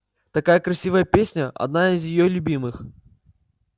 такая красивая песня одна из её любимых